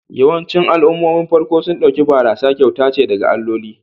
Yawancin al'ummomin farko sun ɗauki barasa kyauta ce daga alloli